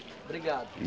Obrigado.